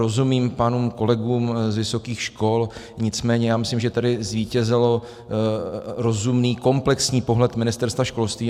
Rozumím pánům kolegům z vysokých škol, nicméně já myslím, že tady zvítězil rozumný komplexní pohled Ministerstva školství.